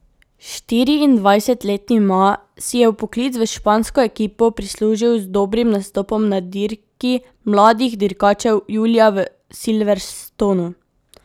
Štiriindvajsetletni Ma si je vpoklic v špansko ekipo prislužil z dobrim nastopom na dirki mladih dirkačev julija v Silverstonu.